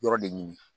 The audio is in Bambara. Yɔrɔ de ɲini